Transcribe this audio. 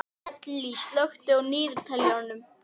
Ellý, slökktu á niðurteljaranum.